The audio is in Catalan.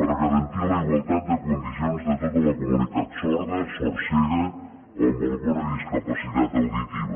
per garantir la igualtat de condicions de tota la comunitat sorda sordcega o amb alguna discapacitat auditiva